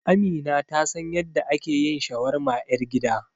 Amina ta san yadda ake yin shawarma ƴar gida.